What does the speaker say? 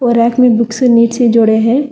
Rack में bookends ईट से जोड़े हैं।